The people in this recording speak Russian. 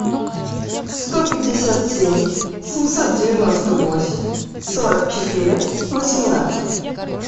сто пятьдесят семь семьсот девяносто восемь сорок четыре восемнадцать